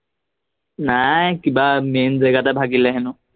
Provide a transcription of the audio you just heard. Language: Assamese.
নাই কিবা মেইন জেগাতে ভাগিলে হেনো